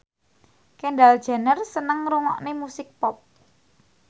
Kendall Jenner seneng ngrungokne musik pop